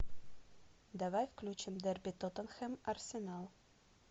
давай включим дерби тоттенхэм арсенал